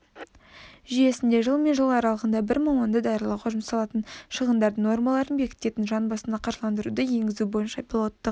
жүйесінде жыл мен жыл аралығында бір маманды даярлауға жұмсалатын шығындардың нормаларын бекітетін жан басына қаржыландыруды енгізу бойынша пилоттық